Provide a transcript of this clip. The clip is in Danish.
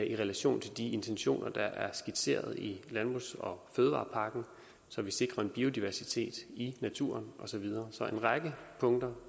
i relation til de intentioner der er skitseret i landbrugs og fødevarepakken så vi sikrer en biodiversitet i naturen og så videre så en række punkter